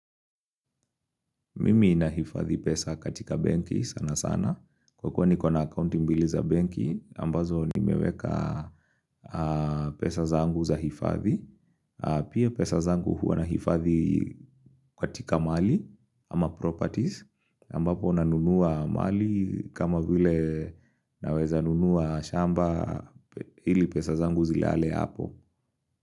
Mimi inahifadhi pesa katika banki sana sana. Kwa kwa ni kwa na account mbili za banki, ambazo ni meweka pesa zangu za hifadhi. Pia pesa zangu huwa na hifadhi ka tika mali ama properties. Ambapo na nunua mali kama vile naweza nunua shamba ili pesa zangu zilale hapo.